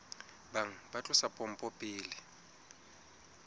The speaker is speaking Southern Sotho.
bang ba tlosa pompo pele